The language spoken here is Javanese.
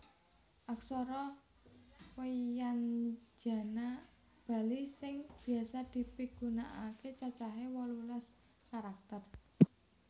Aksara wyanjana Bali sing biasa dipigunakaké cacahé wolulas karakter